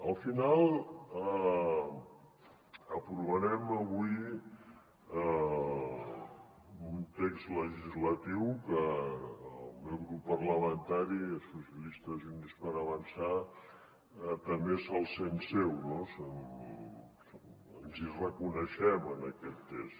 al final aprovarem avui un text legislatiu que el meu grup parlamentari socialistes i units per avançar també se’l sent seu no ens hi reconeixem en aquest text